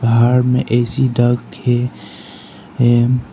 बाहर में ए_सी डखे हैं।